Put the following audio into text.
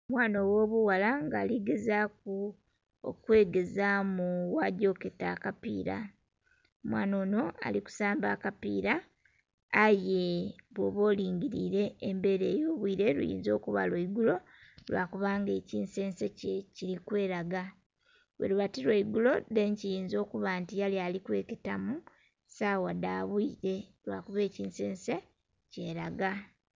Omwana ogh'obughala nga ali gezaaku okwegezaamu bwagya oketa akapiira. Omwana onho ali kusamba akapiira, aye bwoba olingiliile embeela ey'obwile luyinza okuba lwa igulo, lwa kubanga ekinzenze kye kili kwelaga. Bweluba ti lwa igulo then kiyinza okuba nti yali ali kweketamu sawa dha bwile lwakuba ekinzenze kyelaga.